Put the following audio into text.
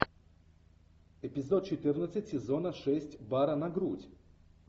эпизод четырнадцать сезона шесть бара на грудь